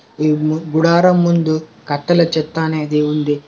ఈ గుడారం ముందు కట్టెల చెత్త అనేది ఉంది.